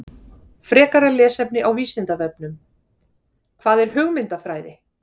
Frekara lesefni á Vísindavefnum: Hvað er hugmyndafræði?